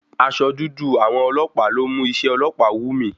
Aṣọ dúdú àwọn ọlọ́pàá ló mú iṣé ọlọ́pàá wù mí.